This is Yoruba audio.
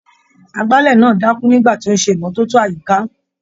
Agbálẹ̀ náà dákú nígbà tí ó ń ṣe ìmọ́tótó àyíká.